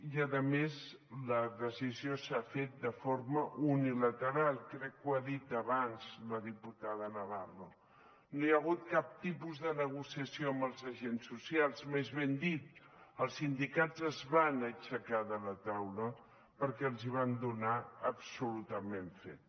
i a més la decisió s’ha fet de forma unilateral crec que ho ha dit abans la diputada navarro no hi ha hagut cap tipus de negociació amb els agents socials més ben dit els sindicats es van aixecar de la taula perquè els hi van donar absolutament fet